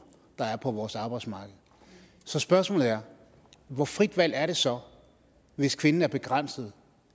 der er på vores arbejdsmarked så spørgsmålet er hvor frit et valg er det så hvis kvinden er begrænset